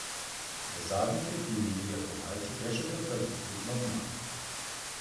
V zadnji tretjini je Ilja Kovaljčuk le še potrdil skupno zmago.